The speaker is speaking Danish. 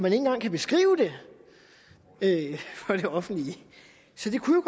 ikke engang kan beskrive det for det offentlige så det kunne